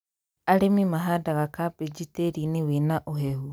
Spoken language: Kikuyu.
Arĩmi mahandaga kambĩji tĩĩri-inĩ wĩna ũhehu